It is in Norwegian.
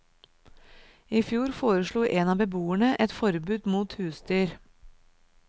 I fjor foreslo en av beboerne et forbud mot husdyr.